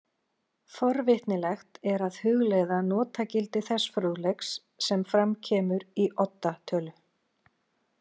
Forvitnilegt er að hugleiða notagildi þess fróðleiks sem fram kemur í Odda tölu.